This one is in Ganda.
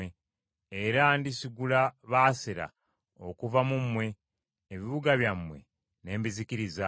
Era ndisigula Baasera okuva mu mmwe, ebibuga byammwe n’embizikiriza.